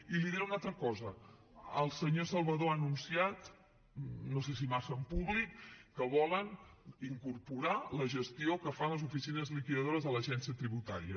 i li diré una altra cosa el senyor salvador ha anunciat no sé si massa en públic que volen incorporar la gestió que fan les oficines liquidadores de l’agència tributària